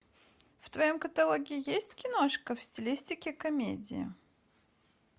в твоем каталоге есть киношка в стилистике комедии